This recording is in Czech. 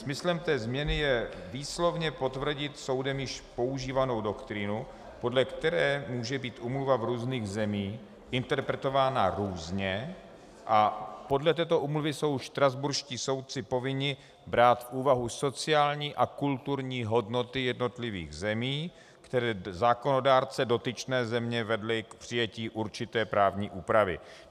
Smyslem té změny je výslovně potvrdit soudem již používanou doktrínu, podle které může být úmluva v různých zemích interpretována různě, a podle této úmluvy jsou štrasburští soudci povinni brát v úvahu sociální a kulturní hodnoty jednotlivých zemí, které zákonodárce dotyčné země vedly k přijetí určité právní úpravy.